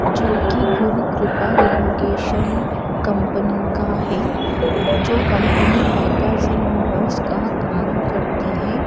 जो कि Guru Kripa relocation company का है जो कंपनी पैकर्स एंड मूवर्स का काम करती है।